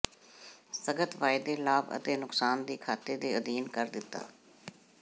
ਸਥਗਤ ਵਾਅਦੇ ਲਾਭ ਅਤੇ ਨੁਕਸਾਨ ਦੀ ਖਾਤੇ ਦੇ ਅਧੀਨ ਕਰ ਦਿੱਤਾ